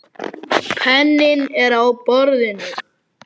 Penninn er á borðinu.